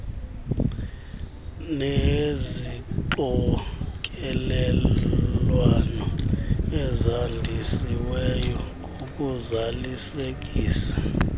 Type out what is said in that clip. nezixokelelwano ezandisiweyo ngokuzalisekisa